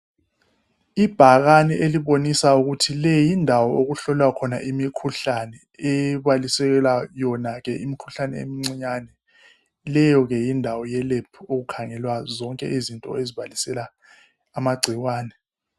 Ibhakani elibonisa ukuthi leyindawo okuhlolwa khona imikhuhlane ebaliselela yona ke imikhuhlane emicinyane leyo ke yindawo yelebhu okukhangelwa zonke izinto ezibalisela amagcikwane.